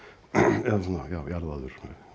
eða jarðaður